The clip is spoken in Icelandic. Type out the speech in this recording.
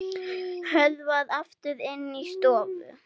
Hörfar aftur inn í stofu.